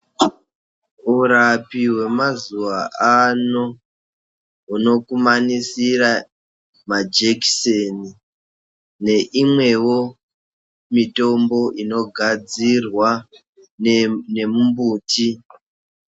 Urapi wemazuwa ano hunokumanisira majekiseni neimwewo mitombo inogadzirwa ngemumbuti.